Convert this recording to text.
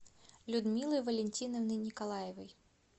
людмилы валентиновны николаевой